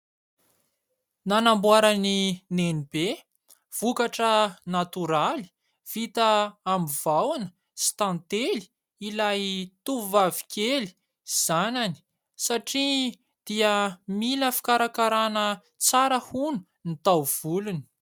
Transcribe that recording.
Nanamboarany Nenibe vokatra natoraly vita aminy vahoana sy tantely ilay tovovavy kely zanany satria dia mila fikarakarana tsara hono ny taovolony.